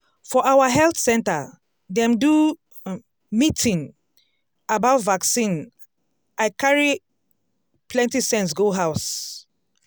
for our health center dem do um meeting um about vaccine i carry um plenty sense go house.